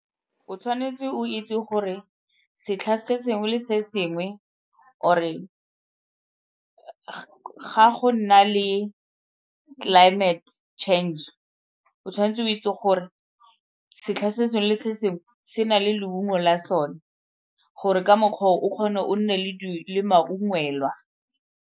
O tshwanetse o itse gore setlhare se sengwe le sengwe or-e ga go nna le climate change o tshwanetse o itse gore setlha se sengwe le se sengwe se na le leungo la sone gore ka mokgwa oo, o kgone o nne le le maungelwa.